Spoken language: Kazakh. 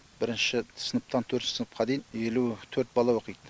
бірінші сыныптан төртінші сыныпқа дейін елу төрт бала оқиды